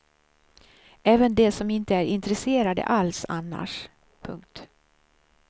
Även de som inte är intresserade alls annars. punkt